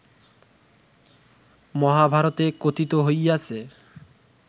মহাভারতে কথিত হইয়াছে